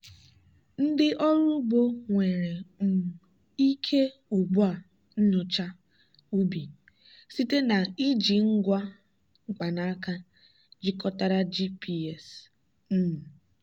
ndị ọrụ ugbo nwere um ike ugbu a nyochaa ubi site na iji ngwa mkpanaka jikọtara gps. um